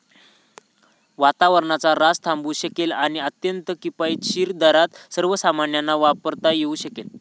वातावरणाचा ऱ्हास थांबवू शकेल आणि अत्यंत किफायतशीर दरात सर्वसामान्यांना वापरता येऊ शकेल.